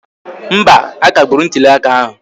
Mba, a kagburu ntụli aka ahụ